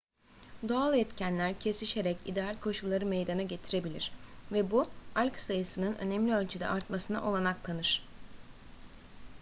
doğal etkenler kesişerek ideal koşulları meydana getirebilir ve bu alg sayısının önemli ölçüde artmasına olanak tanır